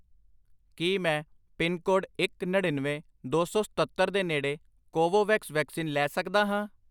ਕੀ ਮੈਂ ਪਿਨਕੋਡ ਇੱਕ, ਨੜਿੱਨਵੇਂ, ਦੋ ਸੌ ਸਤੱਤਰ ਦੇ ਨੇੜੇ ਕੋਵੋਵੈਕਸ ਵੈਕਸੀਨ ਲੈ ਸਕਦਾ ਹਾਂ?